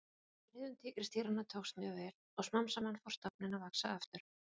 friðun tígrisdýranna tókst mjög vel og smám saman fór stofninn að vaxa aftur